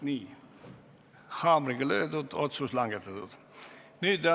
Nii, haamriga on löödud, otsus on langetatud!